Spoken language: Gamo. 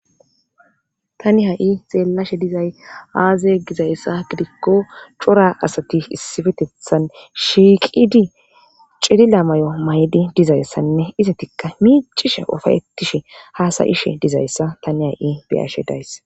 Tani ha'i xeellashe dizay aaze gizayssa gidikko cora asati issifetethan shiiqidi cidila may'o maydi dizayssanne izatikka miicishe ofayettishe haasayishe dizayssa tani ha'i biyashe dayss.